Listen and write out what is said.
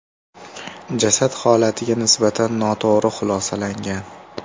Jasad holatiga nisbatan noto‘g‘ri xulosalangan.